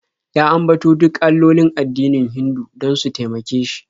Ya ambato duk allolin addinin Hindu don su taimake shi.